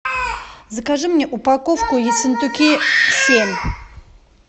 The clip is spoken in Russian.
закажи мне упаковку ессентуки семь